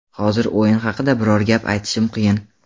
Hozir o‘yin haqida biror gap aytishim qiyin.